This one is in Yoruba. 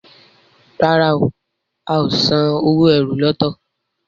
ràrá o ào sàn owo ẹ́rù lọto.